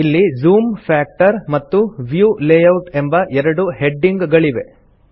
ಇಲ್ಲಿ zoom factor ಮತ್ತು view layout ಎಂಬ ಎರಡು ಹೆಡಿಂಗ್ ಗಳಿವೆ